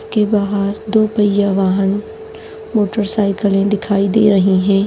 इसके बाहर दो पय्या वाहन मोटरसाइकले दिखाई दे रही है।